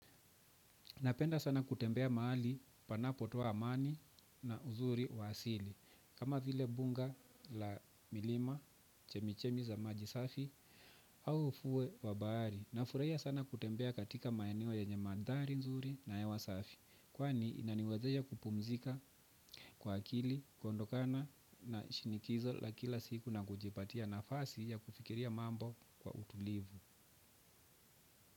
Napenda sana kutembea mahali panapotoa amani na uzuri wa asili. Kama vile bunga la milima, chemichemi za maji safi, au ufuo wa bahari. Nafurahia sana kutembea katika maeneo yenye mandhari nzuri na hewa safi, kwani inaniwezesha kupumzika kwa akili, kuondokana na shinikizo la kila siku na kujipatia nafasi ya kufikiria mambo kwa utulivu.